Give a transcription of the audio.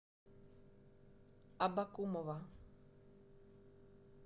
абакумова